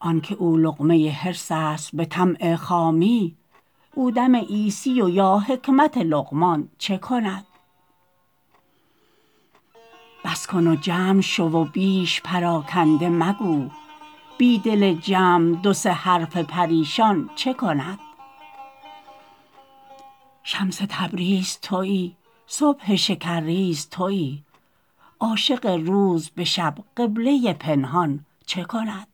آنک او لقمه حرص است به طمع خامی او دم عیسی و یا حکمت لقمان چه کند بس کن و جمع شو و بیش پراکنده مگو بی دل جمع دو سه حرف پریشان چه کند شمس تبریز توی صبح شکرریز توی عاشق روز به شب قبله پنهان چه کند